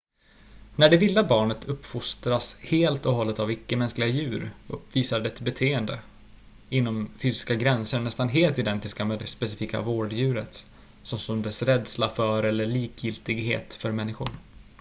när det vilda barnet uppfostras helt och hållet av icke-mänskliga djur uppvisar det beteenden inom fysiska gränser nästan helt identiska med det specifika vårddjurets såsom dess rädsla för eller likgiltighet för människor